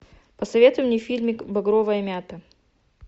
посоветуй мне фильм багровая мята